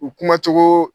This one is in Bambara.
U kumacogo